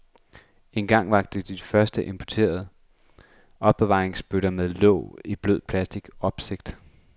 Dengang vakte de første importerede opbevaringsbøtter med låg i blød plastic opsigt.